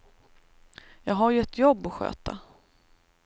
Jag har ju ett jobb att sköta.